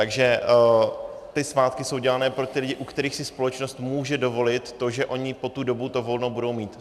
Takže ty svátky jsou dělány pro ty lidi, u kterých si společnost může dovolit to, že oni po tu dobu to volno budou mít.